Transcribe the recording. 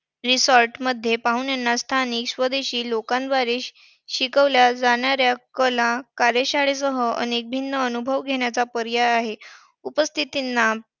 Resort मध्ये पाहुण्यांना स्थानिक स्वदेशी लोकांद्वारे शिकवल्या जाणाऱ्या कला कार्यशाळेसह अनेक भिन्न अनुभव घेण्याचा पर्याय आहे. उपस्थितांना